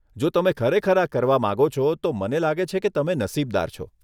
જો તમે ખરેખર આ કરવા માંગો છો તો મને લાગે છે કે તમે નસીબદાર છો.